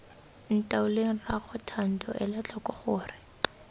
ntaoleng rraago thando elatlhoko gore